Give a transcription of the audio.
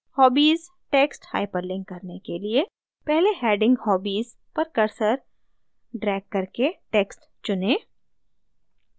hobbies text hyperlink करने के लिए पहले heading hobbies पर cursor ड्रैग करके text चुनें